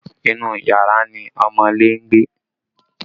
Inú yàrá ni ọmọọ́lé ń gbé